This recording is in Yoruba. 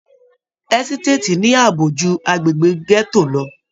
Ẹsitati ní ààbò jù agbegbe gẹto lọ.